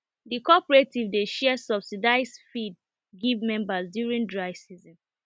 the cooperative dey share subsidised feed give members during dry season